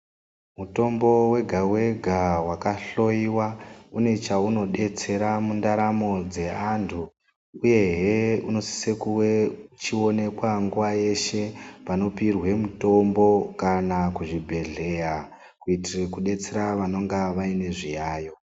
Mutombo wega-wega wakahloiwa une cheunodetsera mundaramo dzeanhu uyehe unosise kuwe uchioneke nguwa yeshe panopirwe mitombo kana kuchibhedhleya kuitire kudetsere vanenge vane zviyayo.